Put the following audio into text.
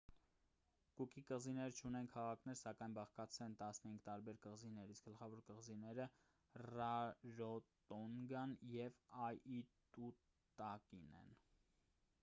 կուկի կղզիները չունեն քաղաքներ սակայն բաղկացած են 15 տարբեր կղզիներից գլխավոր կղզիները ռարոտոնգան և աիտուտակին են